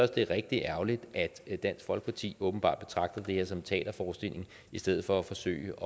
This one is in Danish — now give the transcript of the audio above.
det er rigtig ærgerligt at dansk folkeparti åbenbart betragter det her som en teaterforestilling i stedet for at forsøge